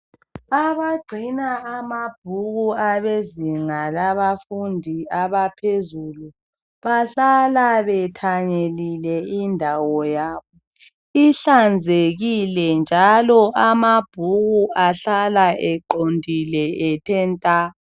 Abagcina amabhuku abezinga labafundi abaphezulu. Bahlala bethanyelile indawo yabo. Ihlanzekile, njalo amabhuku, ahlala eqondile ethe nta!